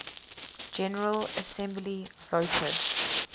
general assembly voted